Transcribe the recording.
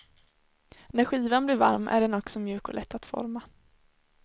När skivan blir varm är den också mjuk och lätt att forma.